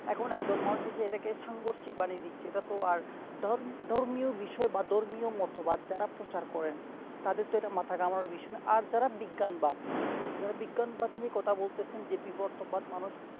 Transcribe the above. এখন একদল মানুষ আছে এটাকে সঙ্গরসিক বানিয়ে দিচ্ছে এটা তো আর ধর~ধর্মীয় বিষয় বা ধর্মীয় মতবাদ যারা প্রচার করেনা তাদের তো ইটা মাথায় ঘামানোর বিষয় নোই আর যারা বিজ্ঞান বাদ যারা বিজ্ঞান বাদ নিয়ে কথা বলতেছেন যে বিবর্তন বাদ মানুষ